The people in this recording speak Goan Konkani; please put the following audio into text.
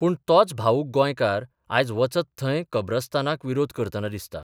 पूण तोच भावूक गोंयकार आज वचत थंय कब्रस्तानाक विरोध करतना दिसता.